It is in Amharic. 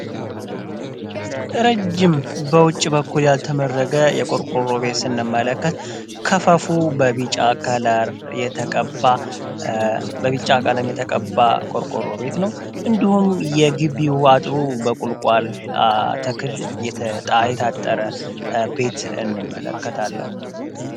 ረጅም በውጭ በኩል ያልተመረገ የቆርቆሮ ቤት ስንመለከት ቢጫ ቆርቆሮ ቤት ነው እንዲሁም የጊቢው አጥሩ በቁልቋል ተክል የታጠረ ቤት እንመለከታለን።